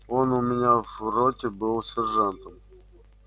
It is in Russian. он у меня в роте был сержантом